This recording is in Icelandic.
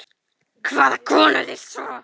Hvaða konu er lýst svo?